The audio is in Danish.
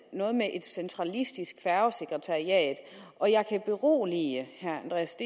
noget med et centralistisk færgesekretariat og jeg kan berolige herre andreas